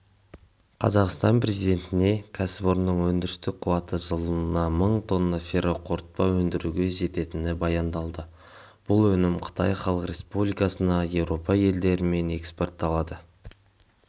қазақстан президентіне кәсіпорынның өндірістік қуаты жылына мың тонна ферроқорытпа өндіруге жететіні баяндалды бұл өнім қытай халық республикасына еуропа елдері мен экспортталады